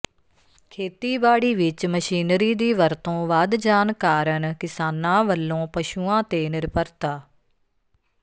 ਖੇਤੀਬਾੜੀ ਵਿੱਚ ਮਸ਼ੀਨਰੀ ਦੀ ਵਰਤੋਂ ਵਧ ਜਾਣ ਕਾਰਨ ਕਿਸਾਨਾ ਵਲੋਂ ਪੁਸ਼ੂਆ ਤੇ ਨਿਰਭਰਤ